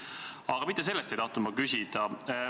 Aga mitte selle kohta ei tahtnud ma küsida.